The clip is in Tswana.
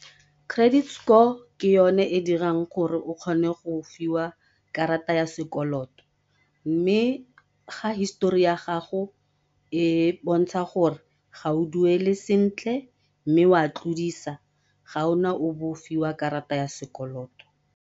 Credit score ke yone e dirang gore o kgone go fiwa karata ya sekoloto, mme ga histori ya gago e bontsha gore ga o duele sentle mme o a tlodisa ga ona o be o fiwa karata ya sekoloto.